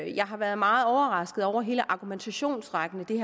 jeg har været meget overrasket over hele argumentationsrækken i